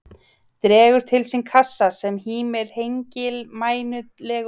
Dregur til sín kassa sem hímir hengilmænulegur á miðju hlöðugólfinu.